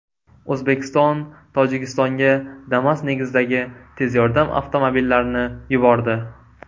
O‘zbekiston Tojikistonga Damas negizidagi tez yordam avtomobillarini yubordi.